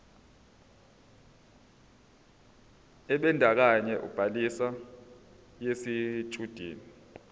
ebandakanya ubhaliso yesitshudeni